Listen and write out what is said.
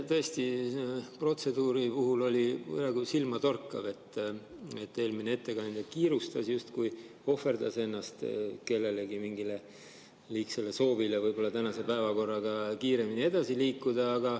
Tõesti, protseduuri puhul oli praegu silmatorkav, et eelmine ettekandja kiirustas, justkui ohverdas ennast kellelegi, mingile liigsele soovile tänase päevakorraga kiiremini edasi liikuda.